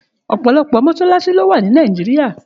Òpòlòpò mọṣalaṣi ló wá ni Nàijiriá